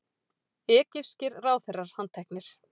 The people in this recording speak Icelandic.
Egypskir ráðherrar handteknir